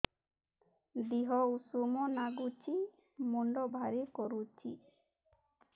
ଦିହ ଉଷୁମ ନାଗୁଚି ମୁଣ୍ଡ ଭାରି କରୁଚି